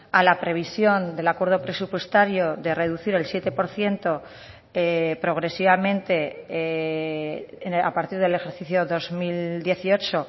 a la previsión del acuerdo presupuestario de reducir el siete por ciento progresivamente a partir del ejercicio dos mil dieciocho